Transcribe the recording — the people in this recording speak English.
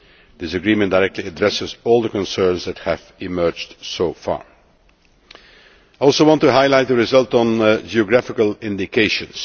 This agreement directly addresses all the concerns that have emerged so far. Also I want to highlight the result on geographical indications.